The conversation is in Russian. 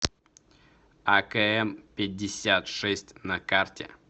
акм пятьдесят шесть на карте